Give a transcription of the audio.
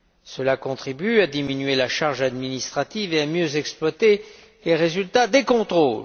Cela contribue à diminuer la charge administrative et à mieux exploiter les résultats des contrôles.